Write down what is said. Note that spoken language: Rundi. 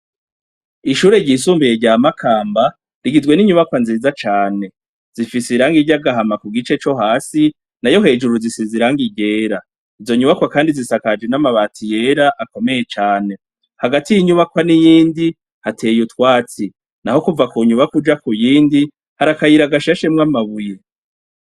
Ishure ryisumbuye rya Makamba rigizwe n'inyubakwa nziza cane, zifise irangi ry'agahama ku gice co hasi, nayo hejuru zisize irangi ryera, izo nyubakwa kandi zisakajwe n'amabati yera akomeye cane, hagati y'inyubakwa niyindi hateye utwatsi, naho kuva ku nyubakwa uja kuyindi hari akayira gashashemwo amabuye.